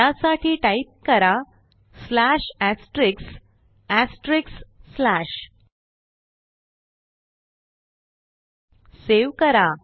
त्यासाठी टाईप करा सेव्ह करा